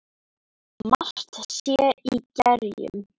Margt sé í gerjum.